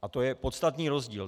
A to je podstatný rozdíl!